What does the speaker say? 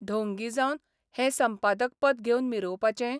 ढोंगी जावन हें संपादक पद घेवन मिरोवपाचें?